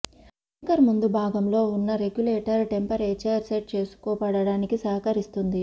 maker ముం దు భాగంలో ఉన్న రెగ్యులేటర్ టెంప రేచర్ సెట్ చేసుకో వడానికి సహకరి స్తుంది